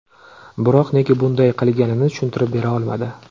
Biroq nega bunday qilganini tushuntirib bera olmadi.